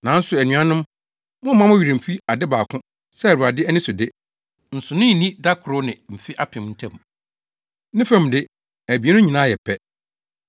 Nanso anuanom, mommma mo werɛ mfi ade baako sɛ Awurade ani so de, nsonoe nni da koro ne mfe apem ntam. Ne fam de, abien no nyinaa yɛ pɛ.